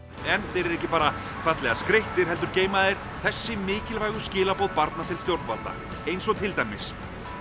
þeir eru ekki bara fallega skreyttir heldur geyma þeir þessi mikilvægu skilaboð barna til stjórnvalda eins og til dæmis